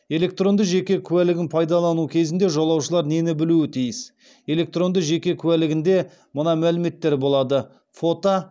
электронды жеке куәлігін пайдалану кезінде жолаушылар нені білуі тиіс электронды жеке куәлігінде мына мәліметтер болады фото